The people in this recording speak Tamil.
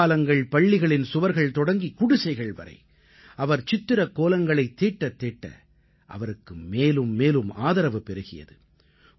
மேம்பாலங்கள்பள்ளிகளின் சுவர்கள் தொடங்கி குடிசைகள் வரை அவர் சித்திரக்கோலங்களைத் தீட்டத்தீட்ட அவருக்கு மேலும் மேலும் ஆதரவு பெருகியது